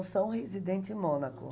são residente em Mônaco.